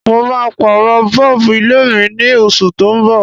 Mo ma pàrọ̀ bulb ilé mí ni osù to n bọ̀